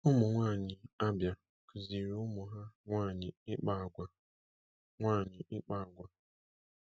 Ụmụnwaanyị Abia kuziri ụmụ ha nwaanyị ịkpa akwa. nwaanyị ịkpa akwa.